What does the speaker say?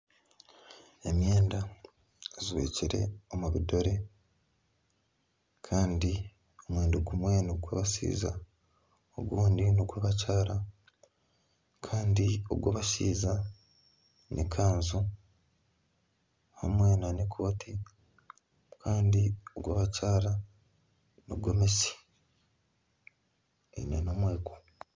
Emyenda ejwekire omu bidore kandi omwenda gumwe nogw'abashaija ogundi n'gw'abakyara Kandi ogw'abashaija n'ekanju hamwe nana ekooti kandi ogw'abakyaara nigomesi eine nana omweko